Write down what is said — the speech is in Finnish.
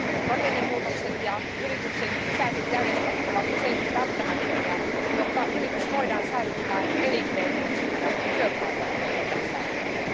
Rakennemuutokset ja yrityksen sisäiset järjestelyt ovat useinkin välttämättömiä, jotta yritys voidaan säilyttää elinkelpoisena ja työpaikat voidaan säilyttää.